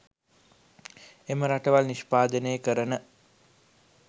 එම රටවල් නිෂ්පාදනය කරන